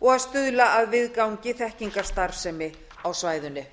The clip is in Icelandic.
og að stuðla að viðgangi þekkingarstarfsemi á svæðinu